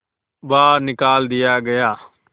बाहर निकाल दिया गया